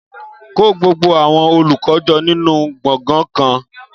Kó gbogbo àwọn olùkọ́ jọ nínú gbọ̀ngàn kan